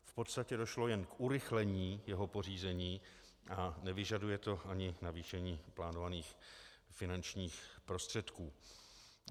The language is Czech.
V podstatě došlo jen k urychlení jeho pořízení a nevyžaduje to ani navýšení plánovaných finančních prostředků.